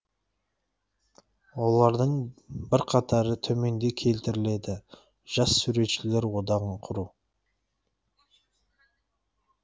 олардың бірқатары төменде келтіріледі жас суретшілер одағын құру